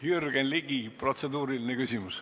Jürgen Ligi, protseduuriline küsimus.